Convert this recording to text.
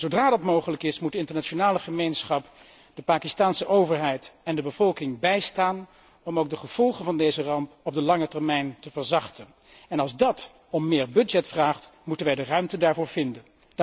Zodra dat mogelijk is, moet de internationale gemeenschap de Pakistaanse overheid en de bevolking bijstaan om ook de gevolgen van deze ramp op de lange termijn te verzachten en als dat om meer budget vraagt, moeten wij de ruimte daarvoor vinden.